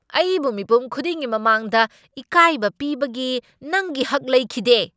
ꯑꯩꯕꯨ ꯃꯤꯄꯨꯝ ꯈꯨꯗꯤꯡꯒꯤ ꯃꯃꯥꯡꯗ ꯏꯀꯥꯏꯕ ꯄꯤꯕꯒꯤ ꯅꯪꯒꯤ ꯍꯛ ꯂꯩꯈꯤꯗꯦ ꯫